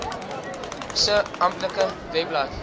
se amptelike webblad